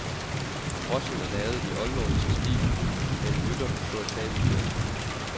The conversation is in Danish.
Brochen er lavet i oldnordisk stil med en rytter på et fabeldyr.